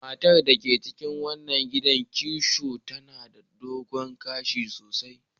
Matar da ke cikin wannan gidan kitso tana da dogon gashi sosai.